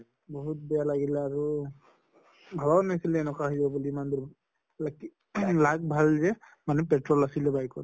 বহুত বেয়া লাগিলে আৰু। ভবাই নাছিলো এনকে ভʼব বুলি lucky ing luck ভাল যে মানে petrol আছিলে bike ত